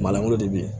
Malangolo de be yen